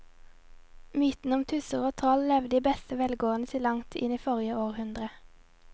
Mytene om tusser og troll levde i beste velgående til langt inn i forrige århundre.